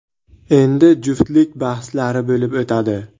Endi juftlik bahslari bo‘lib o‘tadi.